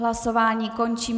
Hlasování končím.